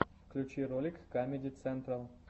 включи ролик камеди централ